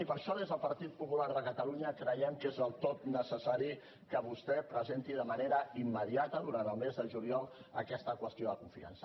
i per això des del partit popular de catalunya creiem que és del tot necessari que vostè presenti de manera immediata durant el mes de juliol aquesta qüestió de confiança